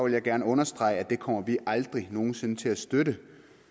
jeg gerne understrege at det kommer vi aldrig nogen sinde til at støtte